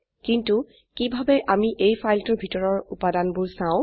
কিন্তু কিভাবে আমি এই ফাইলটোৰ ভিতৰৰ উপাদানবোৰ চাও